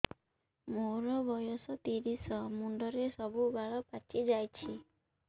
ମୋର ବୟସ ତିରିଶ ମୁଣ୍ଡରେ ସବୁ ବାଳ ପାଚିଯାଇଛି